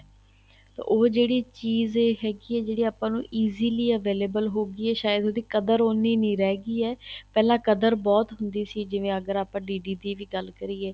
ਉਹ ਜਿਹੜੀ ਚੀਜ਼ ਏ ਹੈਗੀ ਏ ਜਿਹੜੀ ਆਪਾਂ ਨੂੰ easily available ਹੋ ਗਈ ਏ ਸਾਇਦ ਉਹਦੀ ਕਦਰ ਉਹਨੀ ਨਹੀਂ ਰਹਿ ਗਈ ਏ ਪਹਿਲਾਂ ਕਦਰ ਬਹੁਤ ਹੁੰਦੀ ਸੀ ਜਿਵੇਂ ਅਗਰ ਆਪਾਂ D D P ਦੀ ਗੱਲ ਕਰੀਏ